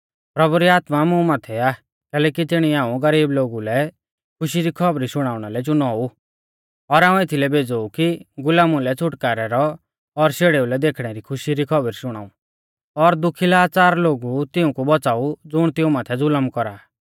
प्रभु री आत्मा मुं माथै आ कैलैकि तिणीऐ हाऊं गरीबु लै खुशी री खौबरी शुणाउणा लै चुनौ ऊ और हाऊं एथीलै भेज़ौ ऊ कि गुलामु लै छ़ुटकारै रौ और शेड़ेऊ लै देखणे री खुशी री खौबरी शुणाऊ और दुखी लाच़ार लोगु तिऊंकु बौच़ाऊ ज़ुण तिऊं माथै ज़ुलम कौरा आ